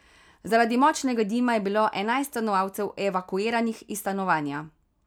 Zaradi močnega dima je bilo enajst stanovalcev evakuiranih iz stanovanja.